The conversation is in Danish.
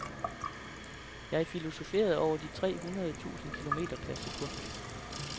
Jeg filosoferede over de tre hundrede tusind kilometer per sekund.